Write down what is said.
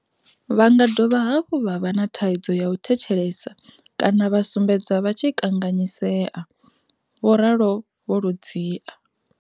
Vhanga dovha hafhu vha vha na thaidzo ya u thetshelesa kana vha sumbedza vha tshi kanganyisea, vho ralo vho Ludzia.